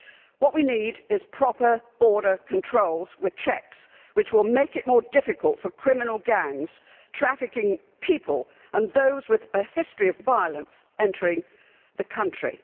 What we need is proper border controls with checks, which will make it more difficult for criminal gangs trafficking people and those with a history of violence to enter the country.